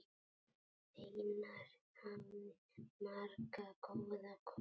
Einar hafði marga góða kosti.